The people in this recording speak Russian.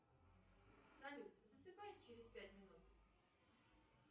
салют засыпай через пять минут